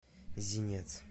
зинец